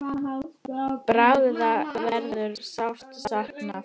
Braga verður sárt saknað.